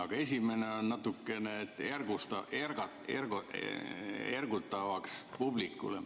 Aga esimene on natukene publikut ergutav.